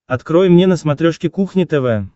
открой мне на смотрешке кухня тв